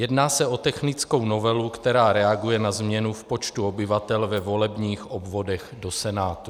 Jedná se o technickou novelu, která reaguje na změnu v počtu obyvatel ve volebních obvodech do Senátu.